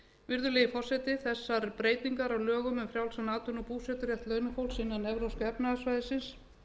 virðulegi forseti þessar breytingar á lögum um frjálsan atvinnu og búseturétt launafólks innan evrópska efnahagssvæðisins